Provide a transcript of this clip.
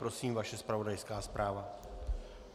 Prosím, vaše zpravodajská zpráva.